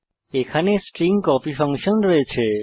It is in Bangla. এখানে স্ট্রিং copyকপি ফাংশন রয়েছে